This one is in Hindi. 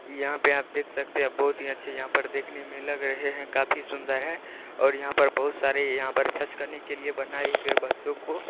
यहाँ पे आप देख सकते है बहुत ही अच्छे यहाँ पर देखने मे लग रहे हैं | काफी सुन्दर हैं और यहाँ पर बहुत सारे यहाँ पर करने के लिए बनायी गयी बच्चों को--